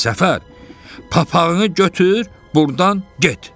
Səfər, papağını götür, burdan get!